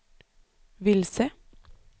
vilse